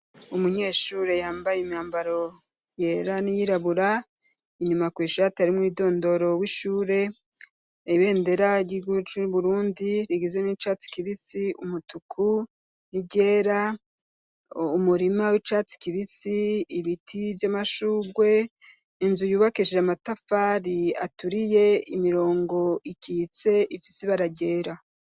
Umunyeshure yambaye imyambaro yera n'iyirabura inyuma kw'ishure atari mumwidondoro w'ishure ibendera ry'igihugu c'Uburundi rigizwe n'icatsi kibisi, umutuku n'iryera umurima w'icatsi kibisi ibiti vy'amashugwe inzu yubakeshije amatafari aturiye imirongo ikitse ifisi ibara ryera.